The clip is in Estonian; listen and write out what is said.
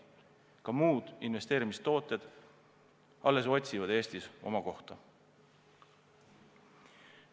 Ka muud investeerimistooted alles otsivad Eestis oma kohta.